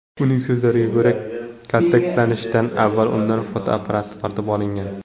Uning so‘zlariga ko‘ra, kaltaklanishdan avval undan fotoapparati tortib olingan.